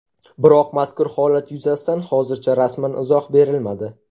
Biroq mazkur holat yuzasidan hozircha rasman izoh berilmadi.